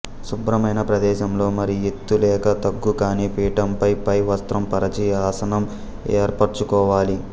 శుభ్రమైన ప్రదేశంలో మరీ ఎత్తు లేక తగ్గు కాని పీఠంపై పై వస్త్రం పరచి ఆసనం ఏర్పరచుకోవాలి